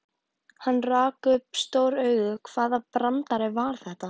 Hann rak upp stór augu, hvaða brandari var þetta?